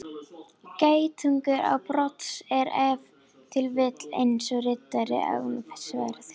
Geitungur án brodds er ef til vill eins og riddari án sverðs.